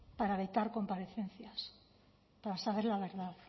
para vetar comparecencias para saber la verdad